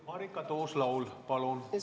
Marika Tuus-Laul, palun!